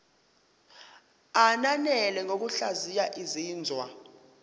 ananele ngokuhlaziya izinzwa